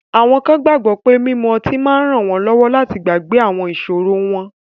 Awọn kan gbagbọ pe mimu ọti ma nranwọnlọwọ lati gbagbe awọn iṣoro wọn